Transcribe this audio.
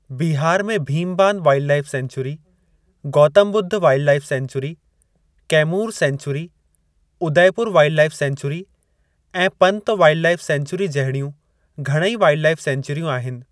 बिहार में Bhimbandh wildlife sanctuary, Gautam Buddha wildlife sanctuary, Kaimur sanctuary, Udaipur wildlife sanctuary ऐं Pant wildlife sanctuary जहिड़ियूं घणई वाइल्डलाईफ़ सैंचुरियूं आहिनि।